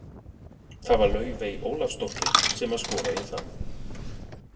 Það var Laufey Ólafsdóttir sem að skoraði það.